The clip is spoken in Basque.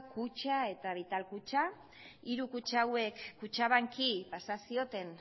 kutxa eta vital kutxa hiru kutxa hauek kutxabanki pasa zioten